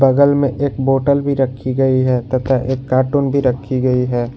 बगल में एक बॉटल भी रखी गई है तथा एक कार्टून भी रखी गई है।